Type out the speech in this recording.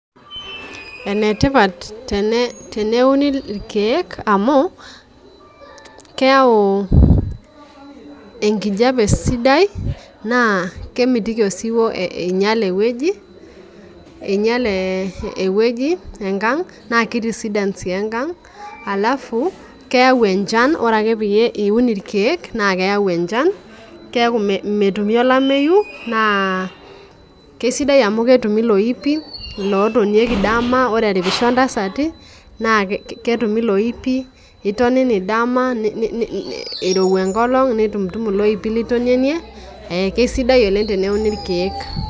Ene tene uni irkeek amu, kayau enkijape sidai na kemitiki osiwuo einyal eweji einyal eweji enkang' naa kitisidan sii enkang', halafu, keyau enchan, ore ake peyie iun irkeek naa keyau enchan, keeku metumi olamayu naa kisidai amu ketumi iloipin lotonieki dama ore eripisho ntasati naa ketumi iloipi, itonini dama irowa enkolong' nitumu tumu iloipin litonenei. Keisidai oleng' teneuni irkeek.